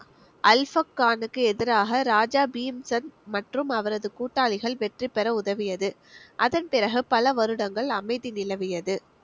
அல்ஃபக் கானுக்கு எதிராக ராஜா பீம்சந்த் மற்றும் அவரது கூட்டாளிகள் வெற்றி பெற உதவியது அதன் பிறகு பல வருடங்கள் அமைதி நிலவியது